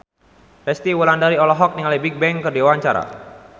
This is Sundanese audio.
Resty Wulandari olohok ningali Bigbang keur diwawancara